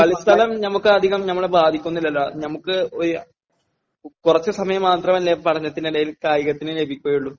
കളിസ്ഥലം...ഞമക്ക് അധികം...ഞമ്മളെ ബാധിക്കുന്നില്ലല്ലോ...ഞമക്ക് ഒരു...കുറച്ചു സമയം മാത്രമല്ലെ പഠനത്തിനിടയിൽ കായികത്തിനു ലഭിക്കുകയുള്ളൂ..